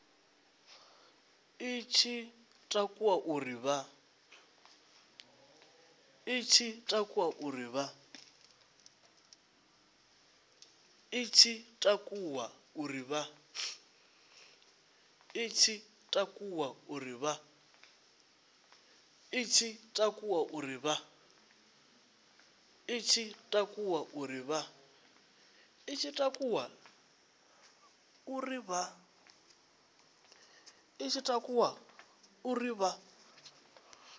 i tshi takuwa uri vha